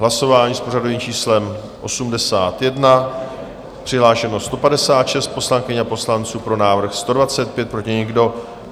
Hlasování s pořadovým číslem 81, přihlášeno 156 poslankyň a poslanců, pro návrh 125, proti nikdo.